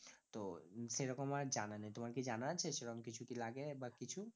তো উম সেরকম আমার জানা নেই তোমার কি জানা আছে? সেরকম কিছু কি লাগে বা কিছু